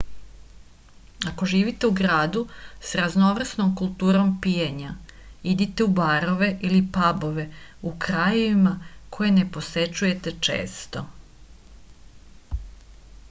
ako živite u gradu sa raznovrsnom kulturom pijenja idite u barove ili pabove u krajevima koje ne posećujete često